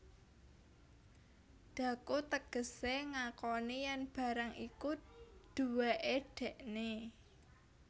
Dhaku tegesé ngakoni yèn barang iku duwéké dèkné